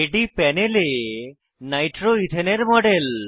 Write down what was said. এটি প্যানেলে নাইট্রোইথেন এর মডেল